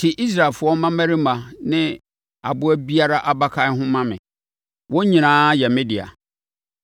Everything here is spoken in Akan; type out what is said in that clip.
“Te Israelfoɔ mmammarima ne aboa biara abakan ho ma me; wɔn nyinaa yɛ me dea.”